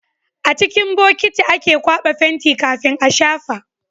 A cikin bokiti ake kwaba fenti kafin a shafa